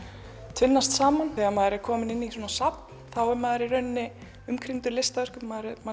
tvinnast saman þegar maður er kominn inn á safn þá er maður umkringdur listaverkum maður er